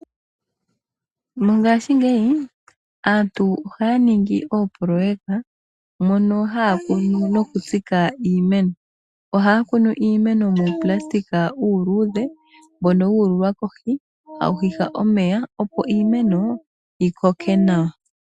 Mongaashi ngeyi aantu oha ya ningi oopoloyeka mono haya kunu noku tsika iimeno, ohaya kunu iimeno muu nayilona uuluudhe mbono wuululwa kohi tawu hiha omeya opo iimeno yikoke nawa.